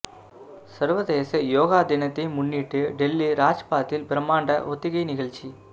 சர்வதேச யோகா தினத்தை முன்னிட்டு டெல்லி ராஜ்பாத்தில் பிரமாண்ட ஒத்திகை நிகழ்ச்சி